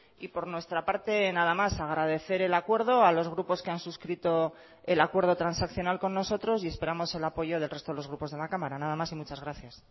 y por nuestra parte nada más agradecer el acuerdo a los grupos que han suscrito el acuerdo transaccional con nosotros y esperamos el apoyo del resto de los grupos de la cámara nada más y muchas gracias